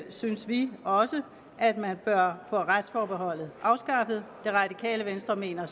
synes vi også at man bør få retsforbeholdet afskaffet det radikale venstre mener